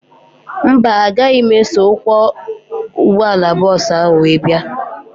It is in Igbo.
Mba, agaghị m eso ọkwọ ụgbọala bọọsu ahu wee bia